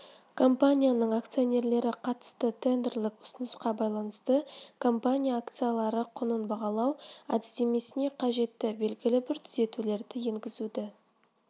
компанияның акционерлері қатысты тендерлік ұсынысқа байланысты компания акцияларының құнын бағалау әдістемесіне қажетті белгілі бір түзетулерді енгізуді